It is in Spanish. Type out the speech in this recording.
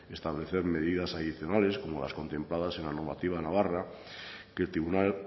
establecer medidas adicionales como las contempladas en la normativa navarra que el tribunal